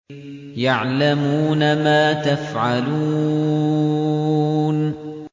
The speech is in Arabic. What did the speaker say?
يَعْلَمُونَ مَا تَفْعَلُونَ